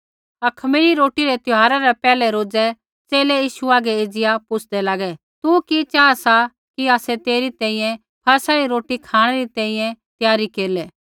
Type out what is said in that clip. अखमीरी रोटी रै त्यौहारा रै पैहलै रोज़ै च़ेले यीशु हागै एज़िया पुछ़दै लागै तू कि चाहा सा कि आसै तेरी तैंईंयैं फसह री रोटी खाँणै री तैंईंयैं त्यारी केरलै